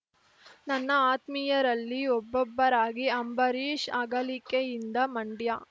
ನನ್ನ ಆತ್ಮೀಯರಲ್ಲಿ ಒಬ್ಬಬ್ಬರಾಗಿ ಅಂಬರೀಶ್‌ ಅಗಲಿಕೆಯಿಂದ ಮಂಡ್ಯ